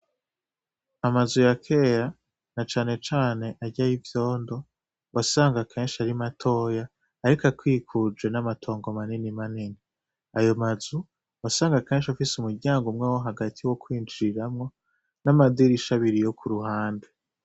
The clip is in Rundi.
Amazu ya kera, na cane cane arya yivyondo, wasanga kenshi ari matoya, ariko akwikuje namatongo manini manini. Ayo mazu, wasanga kenshi afise umuryango umwe wo hagati wo kwinjiriramwo, namadirisha abiri yo kuruhande.